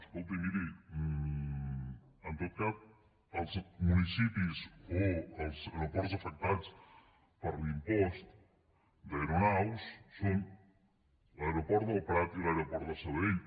escolti miri en tot cas els municipis o els aeroports afectats per l’impost d’aeronaus són l’aeroport del prat i l’aeroport de sabadell